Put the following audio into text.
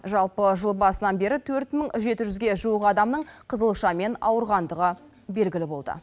жалпы жыл басынан бері төрт мың жеті жүзге жуық адамның қызылшамен ауырғандығы белгілі болды